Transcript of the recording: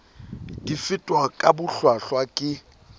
di fetwa ka bohlwahlwa ke